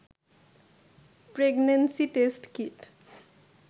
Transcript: pregnancy test kit